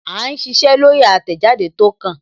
À ń ṣiṣẹ́ lórí àtẹ̀jáde tó kàn